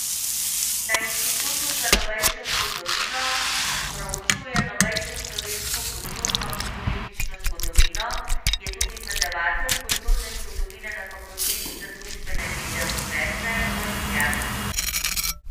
Na Inštitutu za novejšo zgodovino proučuje novejšo slovensko kulturno in politično zgodovino, je tudi predavatelj kulturne zgodovine na Fakulteti za družbene vede Univerze v Ljubljani.